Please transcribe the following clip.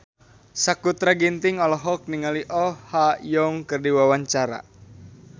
Sakutra Ginting olohok ningali Oh Ha Young keur diwawancara